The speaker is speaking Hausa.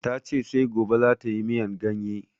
Ta ce sai gobe za tayi miyan ganye